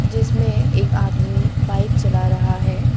जिसमें एक आदमी बाइक चला रहा है।